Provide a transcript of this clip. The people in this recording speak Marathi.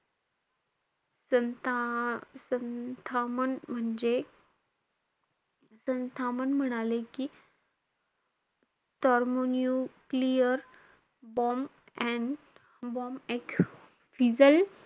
संथ~ संथामन म्हणजे, संथामान म्हणाले कि thermonuclear bomb and ,